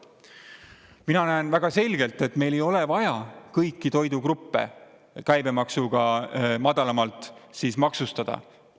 Mina näen väga selgelt, et meil ei ole vaja kõiki toidugruppe käibemaksuga madalamalt maksustada.